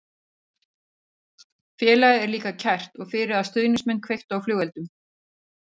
Félagið er líka kært og fyrir að stuðningsmenn kveiktu á flugeldum.